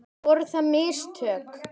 Voru það mistök?